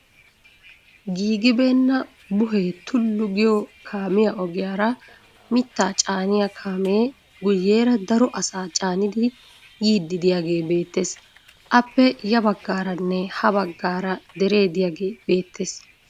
Giigibeenna buhee tullu giyo kaamiya ogiyaara mittaa caaniya kaamee guyyeera daro asaa caanidi yiiddi diyagee beettes. Aappe ya baggaaranne ha baggaara deree diyagee beettes.